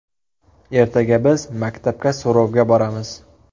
Ertaga biz maktabga so‘rovga boramiz.